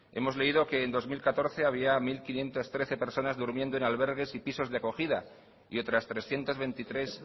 hemos leído que en dos mil catorce había mil quinientos trece personas durmiendo en albergues y pisos de acogida y otras trescientos veintitrés